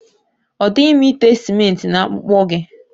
Ọ dịghị mma ite simenti na akpụkpọ gị.